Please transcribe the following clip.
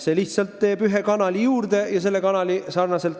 See lihtsalt teeb ühe kanali juurde.